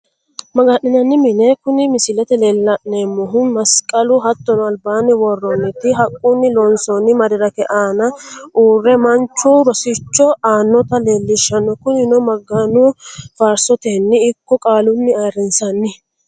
Maga'ninanni mine kuni misilete la'neemohu masiqalu hatono alibanni woroniti haqunni loonsonni medirike aana uure manchu rosicho aanotta leelishanno, kuninno magano faarisoteni ikko qaaluni ayirinsanni